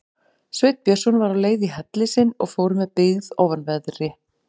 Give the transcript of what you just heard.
Sveinn Björnsson var á leið í helli sinn og fór með byggð ofanverðri.